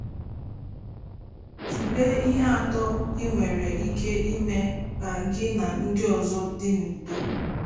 Tụlee ihe atọ i nwere ike ime ka gị na ndị ọzọ dị n'udo.